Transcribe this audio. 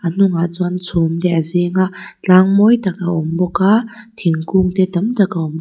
hnungah chuan chhum te a zing a tlâng mawi tak a awm bawka thingkung te tam tak a awm.